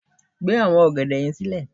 gbe awọn ògèdè yẹn sílẹ